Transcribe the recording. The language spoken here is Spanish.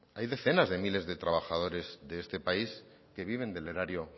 hay decenas de miles de trabajadores de este país que vive del erario